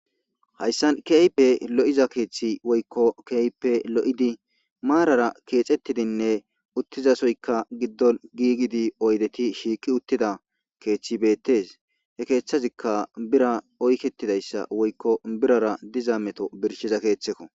hayssan keype lo7iza keeththi woykko keeype lo7idi maarara keexettidinne uttizasoykka giddon giigidi oydeti shiikki uttida keeththi beettes he keeththazikka bira oyketidayssa woykko birara diza meto birshiza keeththekko.